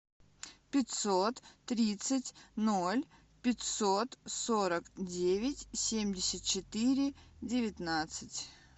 пятьсот тридцать ноль пятьсот сорок девять семьдесят четыре девятнадцать